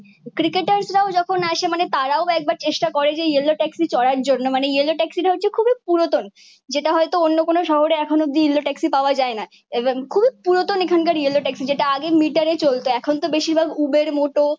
ক্রিকেটাররাও যখন আসে মানে তারাও একবার চেষ্টা করে যে এই ইয়েলো ট্যাক্সি চড়ার জন্য। মানে ইয়েলো ট্যাক্সিটা হচ্ছে খুবই পুরাতন। যেটা হয়তো অন্য কোন শহরে এখনোও অব্দি ইয়েলো ট্যাক্সি পাওয়া যায় না এবং খুবই পুরাতন এখানকার ইয়েলো ট্যাক্সি যেটা আগে মিটারে চলত। এখন তো বেশিরভাগ উবের মোটো